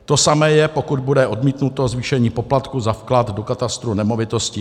To samé je, pokud bude odmítnuto zvýšení poplatku za vklad do katastru nemovitostí.